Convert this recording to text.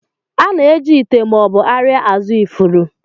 A na-eji ite ma ọ bụ arịa azụ ifuru.